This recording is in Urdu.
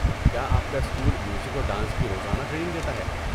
کیا آپ کا اسکول میوزک اور ڈانس کی روزانہ ٹریننگ دیتا ہے؟